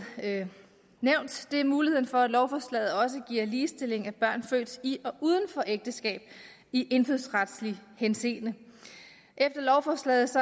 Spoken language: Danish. nævnt er muligheden for at lovforslaget også giver ligestilling af børn født i og uden for ægteskab i indfødsretlig henseende efter lovforslaget